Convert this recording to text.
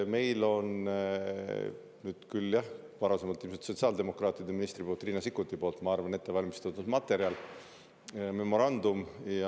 Meil on ette valmistatud – küll, jah, ilmselt sotsiaaldemokraatide, ma arvan, et Riina Sikkuti tehtud – materjal, memorandum.